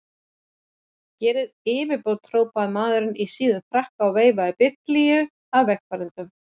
Gerið yfirbót! hrópaði maður í síðum frakka og veifaði biflíu að vegfarendum.